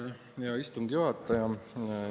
Aitäh, hea istungi juhataja!